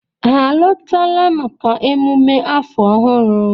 Ha alọtala maka emume afọ ọhụrụ?